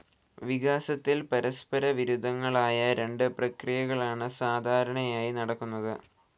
വികാസത്തിൽ പരസ്പരവിരുദ്ധങ്ങളായ രണ്ട് പ്രക്രിയകളാണ് സാധാരണയായി നടക്കുന്നത്.